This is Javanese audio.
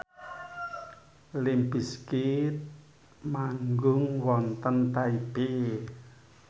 limp bizkit manggung wonten Taipei